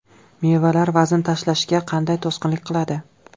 Mevalar vazn tashlashga qanday to‘sqinlik qiladi?.